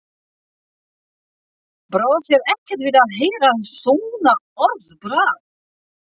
Brá þér ekkert við að heyra svona orðbragð?